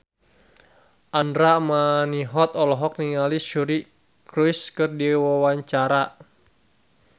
Andra Manihot olohok ningali Suri Cruise keur diwawancara